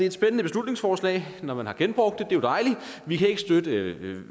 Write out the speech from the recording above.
et spændende beslutningsforslag man har genbrugt er jo dejligt vi kan ikke støtte